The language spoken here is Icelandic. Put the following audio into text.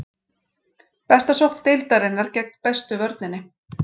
Besta sókn deildarinnar gegn bestu vörninni.